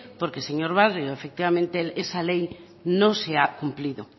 porque señor barrio efectivamente esa ley no se ha cumplido